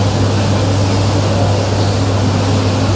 और पीछे काले रंग का कुछ ड्रावर की तरह बना हुआ है।